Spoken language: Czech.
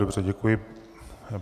Dobře, děkuji.